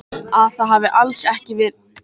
Að það hafi alls ekki verið slys.